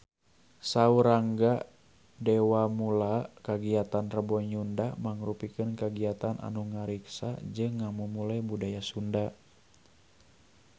Saur Rangga Dewamoela kagiatan Rebo Nyunda mangrupikeun kagiatan anu ngariksa jeung ngamumule budaya Sunda